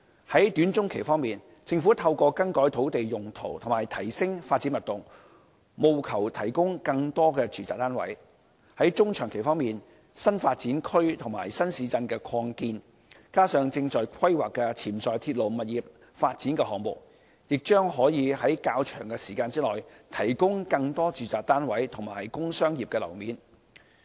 在短中期方面，政府透過更改土地用途和提升發展密度，務求提供更多住宅單位；在中長期方面，新發展區和新市鎮擴建，加上正在規劃的潛在鐵路物業發展項目，亦將可在較長的時間內，提供更多住宅單位及工商業樓面。